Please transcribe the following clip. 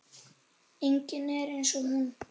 Enginn er eins og hún.